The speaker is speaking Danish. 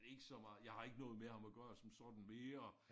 Ikke så meget jeg har ikke noget med ham at gøre som sådan mere